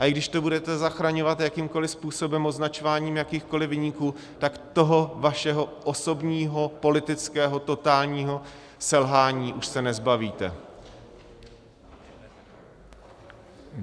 A i když to budete zachraňovat jakýmkoliv způsobem, označováním jakýchkoliv viníků, tak toho svého osobního politického totálního selhání už se nezbavíte.